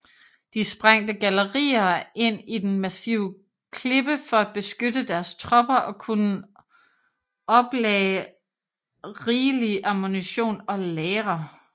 De sprængte gallerier ind i den massive klippe for at beskytte deres tropper og kunne oplagde rigelig ammunition og lagre